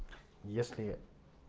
если